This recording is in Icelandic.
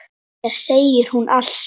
Mér segir hún allt: